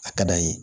A ka d'an ye